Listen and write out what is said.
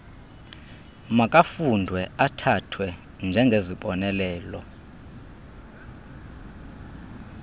makafundwe athathwe njengezibonelelo